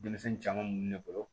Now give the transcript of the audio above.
Denmisɛnnin caman mun ne bolo